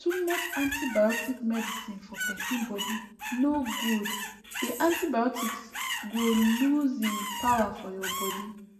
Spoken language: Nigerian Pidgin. too much antibiotic medicine for pesin body nor good the antibiotics go lose hin power for ur body